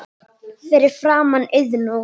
Fyrir framan Iðnó.